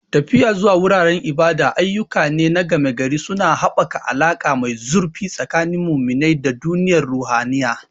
Tafiya zuwa wuraren ibada ayyuka ne na gama-gari, suna haɓaka alaƙa mai zurfi tsakanin muminai da duniyar ruhaniya.